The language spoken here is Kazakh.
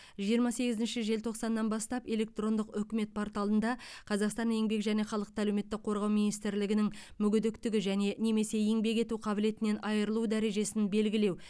жиырма сегізінші желтоқсаннан бастап электрондық үкімет порталында қазақстан еңбек және халықты әлеуметтік қорғау министрлігінің мүгедектікті және немесе еңбек ету қабілетінен айырылу дәрежесін белгілеу